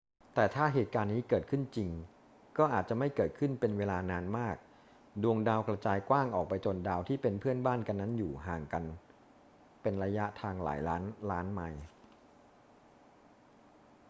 แต่ถ้าเหตุการณ์นี้เกิดขึ้นจริงก็อาจจะไม่เกิดขึ้นเป็นเวลานานมาก ดวงดาวกระจายกว้างออกไปจนดาวที่เป็น เพื่อนบ้าน กันนั้นอยู่ห่างกันเป็นระยะทางหลายล้านล้านไมล์